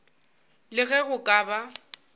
le ge go ka ba